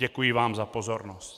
Děkuji vám za pozornost.